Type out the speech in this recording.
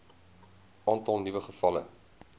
aantal nuwe gevalle